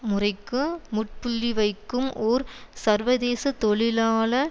முறைக்கு முற்ப்புள்ளி வைக்கும் ஓர் சர்வதேச தொழிலாள